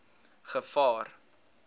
gevaar